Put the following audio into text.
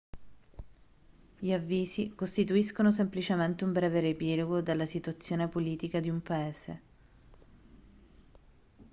gli avvisi costituiscono semplicemente un breve riepilogo della situazione politica di un paese